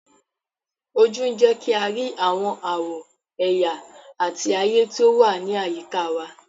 Ojú ń jẹ́ kí a rí àwọn àwọ̀, ẹ̀yà àti ayé tí ó wà ní àyíká wa.